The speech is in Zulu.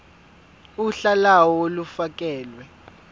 uhla lawo olufakelwe